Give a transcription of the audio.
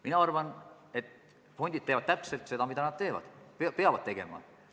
Mina arvan, et fondid teevad just seda, mida nad peavad tegema.